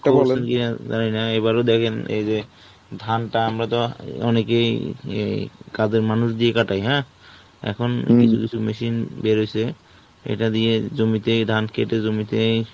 ইএ জানি না এবারও দেখেন এই যে, ধান টা আমরা তো অনেকেই এই ই কাজের মানুষ দিয়ে কাটাই হ্যাঁ, এখন কিছু কিছু machine বের হয়ছে, এটা দিয়ে জমিতেই ধান কেটে জমিতেই,